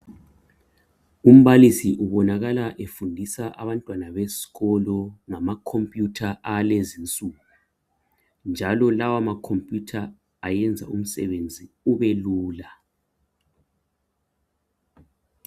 Umbalisi ubonakala efundisa abantwana besikolo ngama computer alezinsuku njalo lawa ma computer ayenza umsebenzi ubelula